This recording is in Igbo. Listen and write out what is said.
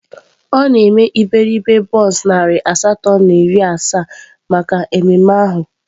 Ọ na-eme iberibe bọns narị asatọ na iri asaa maka mmemme ahụ.